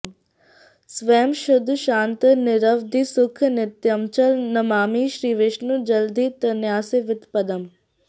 स्वयं शुद्धं शान्तं निरवधिसुखं नित्यमचलं नमामि श्रीविष्णुं जलधितनयासेवितपदम्